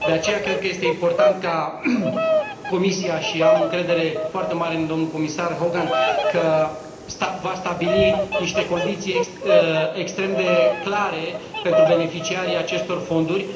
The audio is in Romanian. De aceea cred că este important ca Comisia, și am încredere foarte mare în domnul comisar Hogan, că va stabili niște condiții extrem de clare pentru beneficiarii acestor fonduri.